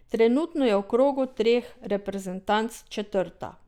Trenutno je v krogu treh reprezentanc četrta.